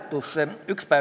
Kas seda hääletati üldse?